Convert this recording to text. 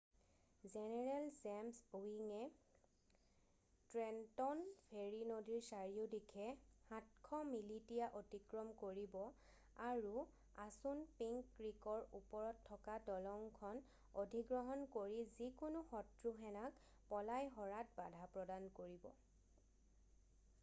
general James ইৱিঙে Trenton ferry নদীৰ চাৰিওদিশে 700 মিলিটিয়া অতিক্ৰম কৰিব আৰু আছুনপিংক ক্ৰীকৰ ওপৰত থকা দলংখন অধিগ্ৰহণ কৰি যিকোনো শত্ৰু সেনাক পলাই সৰাত বাধা প্ৰদান কৰিব